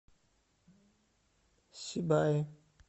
сибае